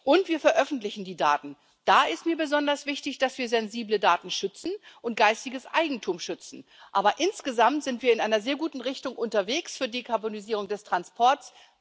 Und wir veröffentlichen die Daten da ist mir besonders wichtig, dass wir sensible Daten und geistiges Eigentum schützen. Aber insgesamt sind wir in einer sehr guten Richtung unterwegs für die Karbonisierung des Transports.